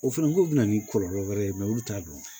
O fana k'o bɛ na ni kɔlɔlɔ wɛrɛ ye olu t'a dɔn